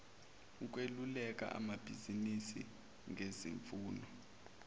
ukweluleka amabizinisi ngezimfuno